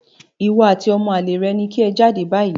Ìwọ àti ọmọ àlè rẹ ni kí ẹ jáde báyìí